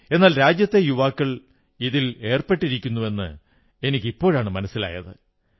എന്നാൽ രാജ്യത്തെ യുവാക്കൾ ഇതിൽ ഏർപ്പെട്ടിരിക്കുന്നുവെന്ന് എനിക്ക് ഇപ്പോഴാണ് മനസ്സിലായത്